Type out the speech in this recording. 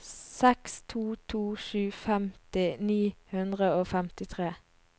seks to to sju femti ni hundre og femtitre